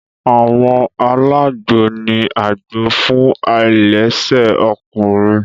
Àwọn alagbo ni àgbò fún ailese ọkùnrin.